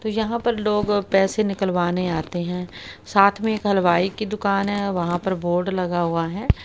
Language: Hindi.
तो यहां पर लोग पैसे निकलवाने आते है साथ में हलवाई की दुकान है वहां पर बोर्ड लगा हुआ है।